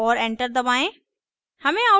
और enter दबाएं